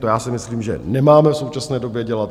To já si myslím, že nemáme v současné době dělat.